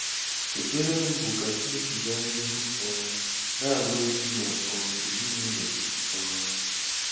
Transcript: Ekpere m bụ ka Chineke gaa n'ihu um na-agọzi gị na um ezinụụlọ gị um